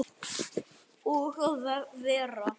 Og að vera